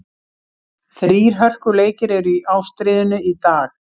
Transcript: Þrír hörkuleikir eru í ástríðunni í dag.